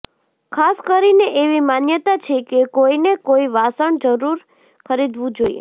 ખાસ કરીને એવી માન્યતા છે કે કોઈને કોઈ વાસણ જરૂર ખરીદવું જોઈએ